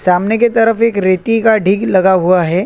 सामने के तरफ एक रेती का डिग लगा हुआ हैं।